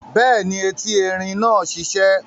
Bẹ́ẹ̀ni, eti erin náà sisẹ́